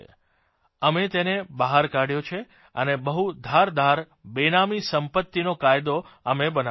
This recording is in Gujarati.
અમે તેને બહાર કાઢ્યો છે અને બહુ ધારદાર બેનામી સંપત્તિનો કાયદો અમે બનાવ્યો છે